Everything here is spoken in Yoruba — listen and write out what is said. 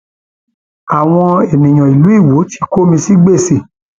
àwọn èèyàn ìlú iwọ ti kó mi sí gbèsè